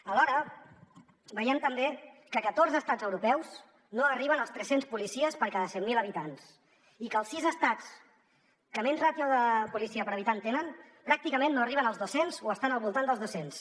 alhora veiem també que catorze estats europeus no arriben als tres cents policies per cada cent mil habitants i que els sis estats que menys ràtio de policia per habitant tenen pràcticament no arriben als dos cents o estan al voltant dels dos cents